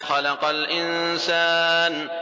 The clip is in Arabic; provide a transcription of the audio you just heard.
خَلَقَ الْإِنسَانَ